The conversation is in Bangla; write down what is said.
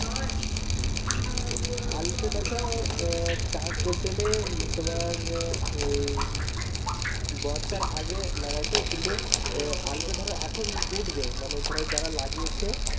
আলুটা দেখো আহ চাষ বলতে গেলে তোমার আহ বর্ষার আগে লাগাইতো কিন্তু আলুটা ধরো এখন উঠবে মানে ধরো যারা লাগিয়েছে